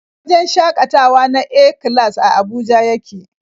Wajen shakatawa na A-class a Abuja yake.